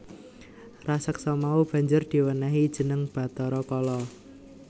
Raseksa mau banjur diwènèhi jeneng Bathara Kala